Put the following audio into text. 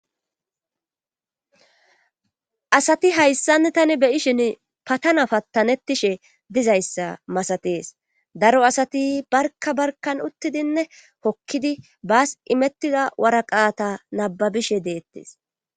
asati hayssanni tani beyishin patana pattanettishe dizayssa masatees daro asati barka barka uttidinne hokkidi baas imettida waraqaata nababishe deettes